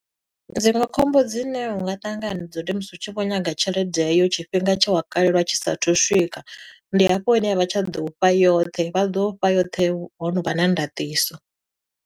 Dziṅwe khombo dzine unga ṱangana nadzo, ndi musi u tshi vho nyaga tshelede heyo tshifhinga tshe wa kalelwa tshi sathu swika. Ndi hafho hune a vha tsha ḓo u fha yoṱhe, vha ḓo u fha yoṱhe hono vha na ndaṱiso.